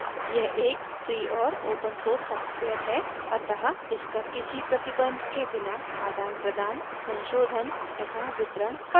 यह एक फ्री और ओपन सोर्स सॉफ्टवेयर है अतः इसका किसी प्रतिबंध के बिना आदानप्रदान संशोधन तथा वितरण कर सकते हैं